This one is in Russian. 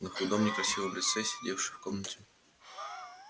на худом некрасивом лице сидевшей в комнате